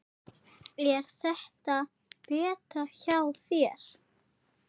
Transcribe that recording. Á að svína eða toppa?